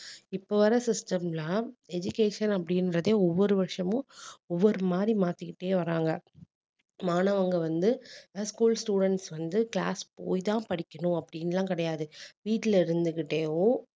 இப்ப வர system லாம் education அப்படின்றதே ஒவ்வொரு வருஷமும் ஒவ்வொரு மாதிரி மாத்திக்கிட்டே வர்றாங்க மாணவர்கள் வந்து school students வந்து class போய்தான் படிக்கணும் அப்படின்னு எல்லாம் கிடையாது வீட்டுல இருந்துகிட்டேவும்